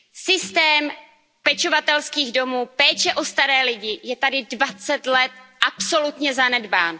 Systém pečovatelských domů, péče o staré lidi je tady 20 let absolutně zanedbán.